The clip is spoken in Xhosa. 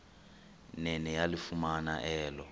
nene yalifumana elo